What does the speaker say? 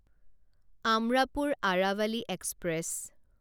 Amrapur Aravali express